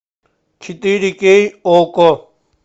четыре кей окко